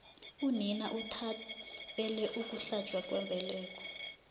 unina uthabele ukuhlatjwa kwembeleko